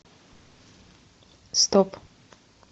стоп